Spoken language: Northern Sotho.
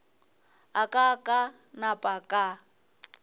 a ka ka napa ka